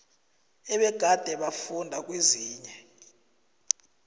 ebegade bafunda kezinye